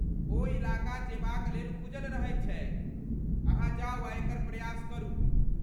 ओ इलाका जेबाक लेल खुजल रहैत छैक, अहाँ जाउ आ एकर प्रयास करू।